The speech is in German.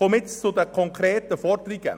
Ich komme zu den konkreten Forderungen.